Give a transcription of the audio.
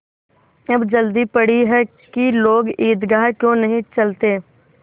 अब जल्दी पड़ी है कि लोग ईदगाह क्यों नहीं चलते